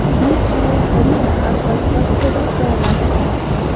बीच में हरी घास और पत्थरों का रास्ता है।